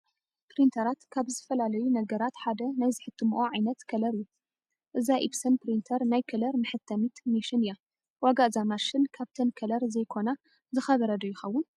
ፕሪንተራት ካብ ዝፈላለያሉ ነገር ሓደ ናይ ዝሕትምኦ ዓይነት ከለር እዩ፡፡ እዛ ኢፕሰን ፕሪንተር ናይ ከለር መሐተሚት ሜሽን እያ፡፡ ዋጋ እዛ ማሽን ካብተን ከለር ዘይኮና ዝኸበረ ዶ ይኸውን?